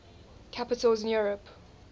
capitals in europe